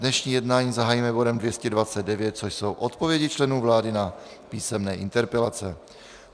Dnešní jednání zahájíme bodem 229, což jsou odpovědi členů vlády na písemné interpelace.